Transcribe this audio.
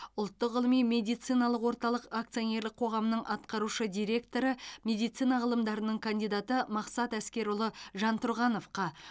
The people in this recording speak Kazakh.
ұлттық ғылыми медициналық орталық акционерлік қоғамының атқарушы директоры медицина ғылымдарының кандидаты мақсат әскерұлы жантұрғановқа